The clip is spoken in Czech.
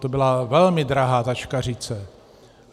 To byla velmi drahá taškařice.